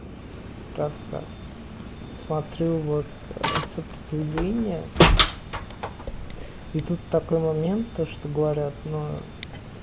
рассказ смотрю вот сопротивление и тут такой момент то что говорят но